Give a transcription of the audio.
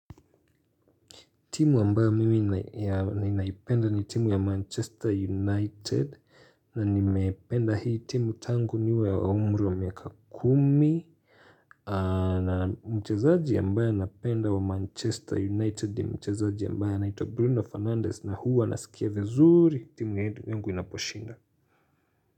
Timu ambayo mimi ninaipenda ni timu ya Manchester United na nimependa hii timu tangu niwe wa umri wa miaka kumi na mchezaji ambaye napenda wa Manchester United ni mchezaji ambaye anaitwa Bruno Fernandez na huwa nasikia vizuri timu yangu inaposhinda.